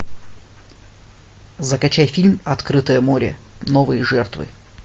закачай фильм открытое море новые жертвы